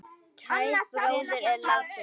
Kær bróðir er látinn.